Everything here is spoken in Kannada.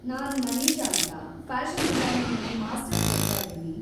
ನಾನ್‌ ಮನೀಷಾ ಅಂತ, ಫ್ಯಾಷನ್‌ ಡಿಸೈನಿಂಗಲ್ಲಿ ಮಾಸ್ಟರ್ಸ್ ಓದ್ತಾಇದ್ದೀನಿ.